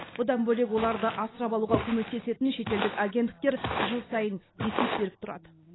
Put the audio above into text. бұдан бөлек оларды асырап алуға көмектесетін шетелдік агенттіктер жыл сайын есеп беріп тұрады